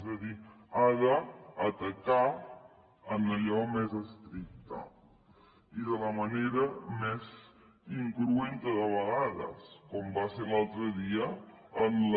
és a dir ha d’atacar en allò més estricte i de la manera més incruenta de vegades com va ser l’altre dia en la